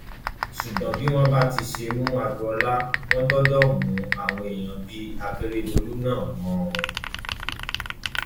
ṣùgbọn bí wọn bá ti ṣe ń mú agboola wọn gbọdọ mú àwọn èèyàn bíi akérèdọlù náà mọ ọn o